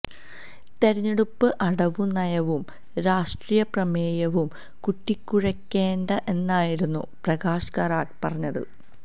തെരഞ്ഞെടുപ്പ് അടവു നയവും രാഷ്ട്രീയ പ്രമേയവും കൂട്ടിക്കുഴയ്ക്കേണ്ട എന്നായിരുന്നു പ്രകാശ് കാരാട്ട് പറഞ്ഞത്